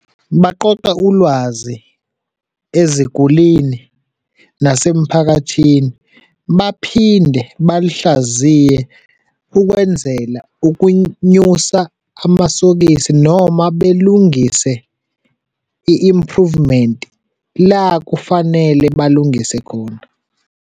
Baqoqe ulwazi ezigulini nasemphakathini, baphinde balihlaziye ukwenzele ukunyusa amasokisi noma belungise i-improvement la kufanele balungise khona.